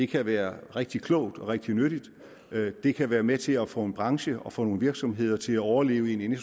kan være rigtig klogt og rigtig nyttigt det kan være med til at få en branche og få nogle virksomheder til at overleve i en